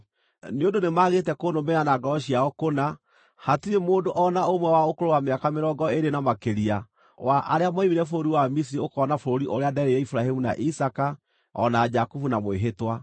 ‘Nĩ ũndũ nĩmagĩte kũnũmĩrĩra na ngoro ciao kũna, hatirĩ mũndũ o na ũmwe wa ũkũrũ wa mĩaka mĩrongo ĩĩrĩ na makĩria wa arĩa moimire bũrũri wa Misiri ũkoona bũrũri ũrĩa nderĩire Iburahĩmu na Isaaka, o na Jakubu na mwĩhĩtwa,